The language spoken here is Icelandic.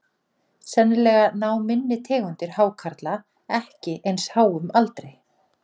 Sennilega ná minni tegundir hákarla ekki eins háum aldri.